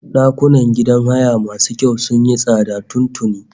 Ɗakunan gidan haya masu kyau sun yi tsada tun tuni